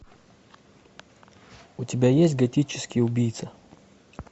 у тебя есть готический убийца